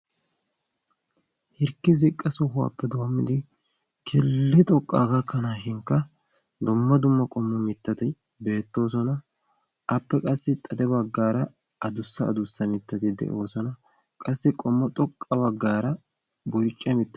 hirkki ziqqa sohuwaappe doommidi keli xoqqaa gakkanaashinkka domma dumma qommo mittati beettoosona appe qassi xade baggaara a dussa adussa mittati de7oosona qassi qommo xoqqa baggaara burcce mittay